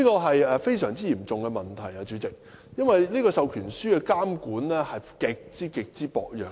主席，這是個非常嚴重的問題，因為授權書的監管極為薄弱。